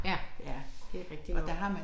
Ja det rigtig nok